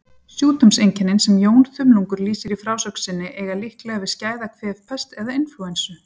Sjúkdómseinkennin sem Jón þumlungur lýsir í frásögn sinni eiga líklega við skæða kvefpest eða inflúensu.